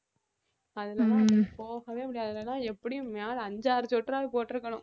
அதுலெல்லாம் போகவே முடியாது எப்படியும் மேல அஞ்சு ஆறு sweater ஆவது போட்டுருக்கணும்